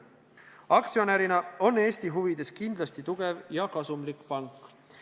Aktsionärina on Eesti huvides kindlasti tugev ja kasumlik pank.